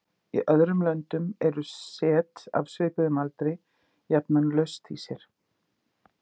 Í öðrum löndum er set af svipuðum aldri jafnan laust í sér.